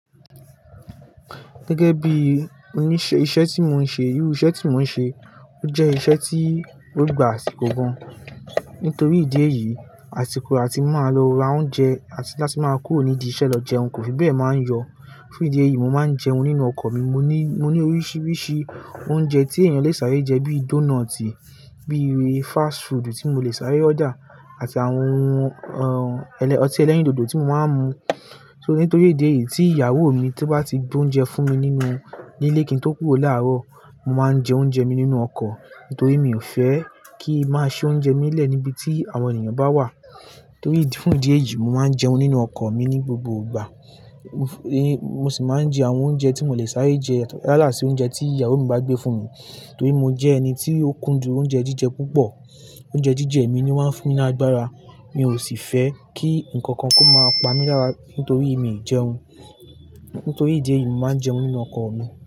Gẹ́gẹ́ bí iṣẹ́ tí mo ń ṣe, irú iṣẹ́ tí mo ń ṣe, ó jẹ́ iṣẹ́ tí ó gbà àsikò gan. Nítorí ìdí èyí, àsìkò àti máa lọ ra oúnjẹ àti láti máa kúrò nídìí iṣẹ́ lọ jẹun, kò fi bẹ́ẹ̀ máa ń yọ. Fun ìdí èyí, mo máa ń jẹun nínú ọkọ̀ mi. Mo ní, mo ní oríṣiríṣi oúnjẹ tí èèyàn lè sáré jẹ bíi dónọ́ọ̀tì, bíi fast food tí mo lè sáré order àti àwọn ọtí ẹlẹ́rìndòdò tí mo máa ń mu. So nítorí ìdí èyí tí ìyàwó mi tó bá ti gbé oúnjẹ fún mi nínú nílé kí n tó kúrò láàárọ̀, mo máa ń jẹ oúnjẹ mi nínú ọkọ̀. Nítorí mi ò fẹ́ kí máa ṣi oúnjẹ mi lẹ́ẹ̀ níbi tí àwọn èniyàn bá wà. Nítorí fún ìdí èyí, mo máa ń jẹun nínú ọkọ̀ mi ní gbogbo ìgbà. Mo sì máa ń jẹ àwọn oúnjẹ tí mo lè sáré jẹ yato yala si oúnjẹ tí ìyàwó mi bá gbé fún mi. Nítorí mo jẹ́ ẹni tí ó kúndùn oúnjẹ jíjẹ púpọ̀. Oúnjẹ jíjẹ mi ni ó máa ń fún mi ni ágbára. Mi ò sì fẹ́ kí nǹkan kan kó máa pa mi lára nítorí mi ì jẹun. Ntorí ìdí èyí, mo máa ń jẹun nínú ọkọ̀ mi.